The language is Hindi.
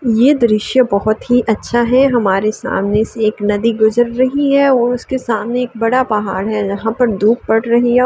ये दृश्य बहोत ही अच्छा है। हमारे सामने से एक नदी गुजर रही है और उसके सामने एक बड़ा पहाड़ है जहाँ पर धूप पड़ रही है औ --